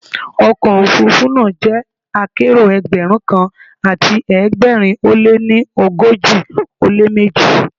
Ọkọ̀ òfuurufú náà jẹ́ akérò Ẹgbẹ̀rún kan àti ẹgbẹ̀rin ó lé ní ogójì ó lé méjì.